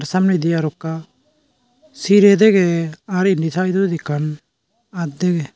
samnedi arokka sirey dege ar indi saidodi ekkan aat dege.